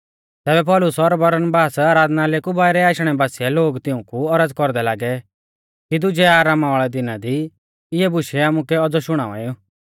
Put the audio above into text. तैबै पौलुस और बरनबास आराधनालय कु बाइरै आशणै बासिऐ लोग तिऊंकु औरज़ कौरदै लागै कि दुजै आरामा वाल़ै दिना दी इऐ बुशै आमुकै औज़ौ शुणाएऊ